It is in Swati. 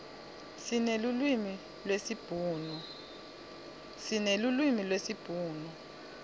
sinelulwimi lesibhunu